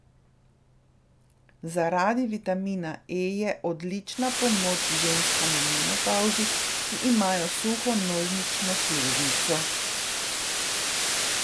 Zaradi vitamina E je odlična pomoč ženskam v menopavzi, ki imajo suho nožnično sluznico.